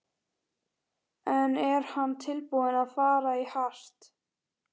En er hann tilbúinn að fara í hart?